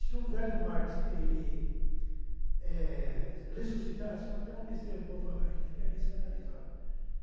Se o Velho Marx ele, é ressuscitasse, é até uma besteira o que eu vou falar, ele ficaria escandalizado.